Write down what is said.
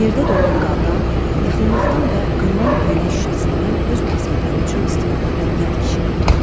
Yerdə donan qardan, yıxılmaqdan və qırılan eynək şüşəsindən öz məqsədləri üçün istifadə edən yad kişidir.